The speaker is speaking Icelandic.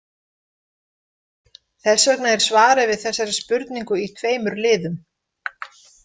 Þess vegna er svarið við þessari spurningu í tveimur liðum.